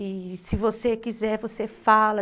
E se você quiser, você fala.